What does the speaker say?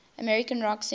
american rock singers